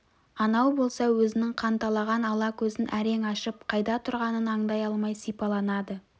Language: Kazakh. анау болса өзінің қанталаған ала көзін әрең ашып қайда тұрғанын аңдай алмай сипаланады